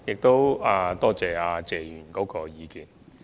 多謝謝議員的意見。